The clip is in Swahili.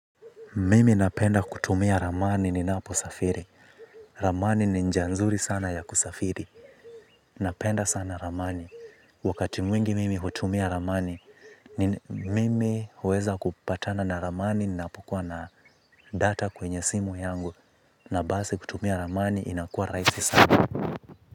Mimi napenda kutumia ramani ninapo safiri. Ramani ni njanzuri sana ya kusafiri. Napenda sana ramani. Wakati mwingi mimi hutumia ramani, mimi huweza kupatana na ramani ninapokua na data kwenye simu yangu. Na basi kutumia ramani inakuwa rahisi sana.